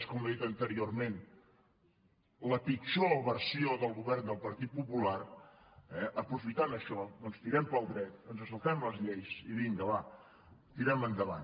com he dit anteriorment la pitjor versió del govern del partit popular eh aprofitant això doncs tirem pel dret ens saltem les lleis i vinga va tirem endavant